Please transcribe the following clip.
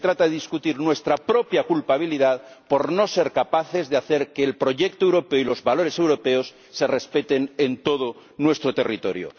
se trata de discutir nuestra propia culpabilidad por no ser capaces de hacer que el proyecto europeo y los valores europeos se respeten en todo nuestro territorio.